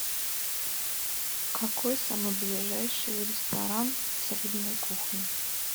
какой самый ближайший ресторан с рыбной кухней